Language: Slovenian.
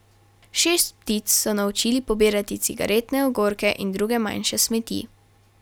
Šest ptic so naučili pobirati cigaretne ogorke in druge manjše smeti.